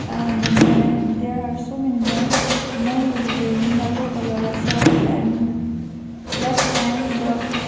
uh the men there are so many men men is wearing yellow colour shirt and black pant the--